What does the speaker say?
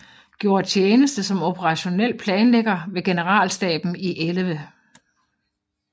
Gjorde tjeneste som operationel planlægger ved generalstaben i 11